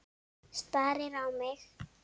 Starir á mig.